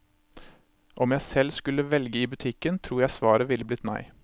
Om jeg selv skulle velge i butikken, tror jeg svaret ville blitt nei.